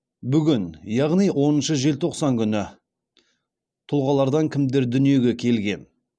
бүгін яғни оныншы желтоқсан күні тұлғалардан кімдер дүниеге келген